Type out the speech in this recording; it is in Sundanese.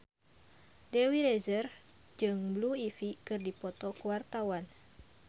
Dewi Rezer jeung Blue Ivy keur dipoto ku wartawan